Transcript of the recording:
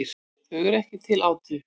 Þau eru ekki til átu.